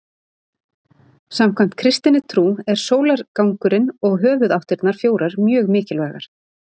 samkvæmt kristinni trú er sólargangurinn og höfuðáttirnar fjórar mjög mikilvægar